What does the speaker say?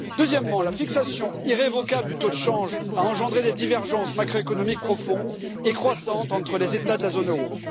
Deuxièmement, la fixation irrévocable du taux de change a engendré des divergences macroéconomiques profondes et croissantes entre les États de la zone euro.